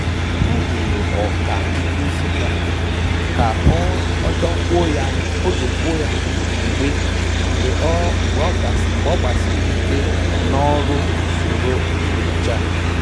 Ọ jụrụ ọkà nkụzi ya ka o dokwuo ya anya mgbe ọ mgbe ọ gbasiri ike na ọrụ usoro nyocha